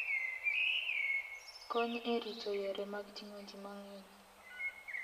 Kony e rito yore mag ting'o ji mang'eny.